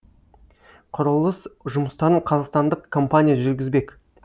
құрылыс жұмыстарын қазақстандық компания жүргізбек